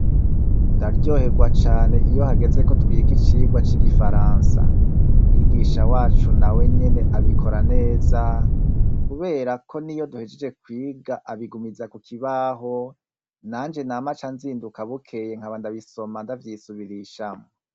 Ndaryoherwa cane iyo hageze ko twiga icirwa c'igifaransa mwigisha wacu na we nyene abikora neza, kubera ko ni yo duhejeje kwiga abigumiza ku kibaho nanje na ma ca nzinduka bukeye nka bandabisoma ndavyisubirishamo.